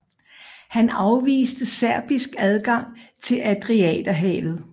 Han afviste serbisk adgang til Adriaterhavet